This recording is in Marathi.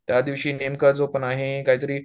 त्या दिवशी नेमकं जो पण आहे काहीतरी